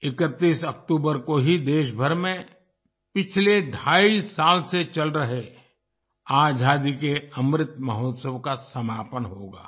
31 अक्टूबर को ही देशभर में पिछले ढ़ाई साल से चल रहे आजादी के अमृत महोत्सव का समापन होगा